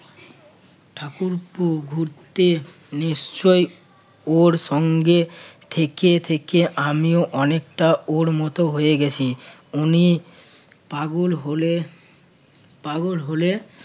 ঠাকুরপো ঘুরতে নিশ্চয়ই ওর সঙ্গে থেকে থেকে আমিও অনেকটা ওর মতো হয়ে গেছি উনি পাগল হলে~ পাগল হলে